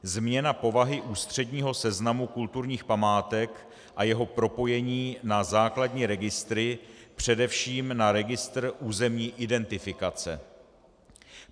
Změna povahy ústředního seznamu kulturních památek a jeho propojení na základní registry, především na registr územní identifikace.